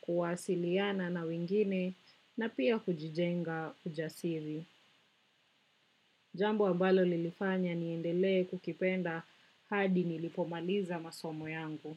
kuwasiliana na wengine na pia kujijenga ujasiri. Jambo ambalo lilifanya niendelee kukipenda hadi nilipomaliza masomo yangu.